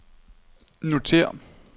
notér